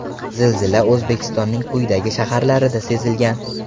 Zilzila O‘zbekistonning quyidagi shaharlarida sezilgan.